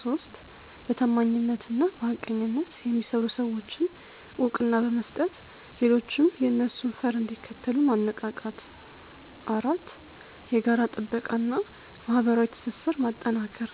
3. በታማኝነትና በሐቀኝነት የሚሰሩ ሰዎችን እውቅና በመስጠት ሌሎችም የእነሱን ፈር እንዲከተሉ ማነቃቃት። 4. የጋራ ጥበቃ እና ማህበራዊ ትስስር ማጠናከር።